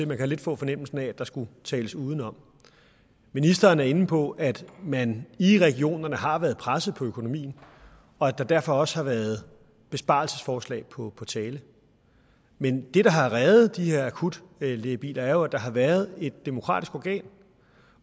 man kan lidt få fornemmelsen af at der skulle tales udenom ministeren er inde på at man i regionerne har været presset på økonomien og at der derfor også har været besparelsesforslag på tale men det der har reddet de her akutlægebiler er jo at der har været et demokratisk organ